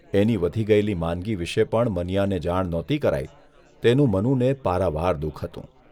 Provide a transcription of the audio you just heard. એની વધી ગયેલી માંદગી વિશે પણ મનીયાને જાણ નહોતી કરાઇ તેનું મનુને પારાવાર દુઃખ હતું.